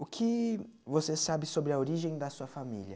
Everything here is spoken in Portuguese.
O que você sabe sobre a origem da sua família?